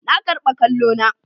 Na karba kwallo na.